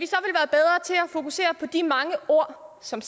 fokusere på de mange ord som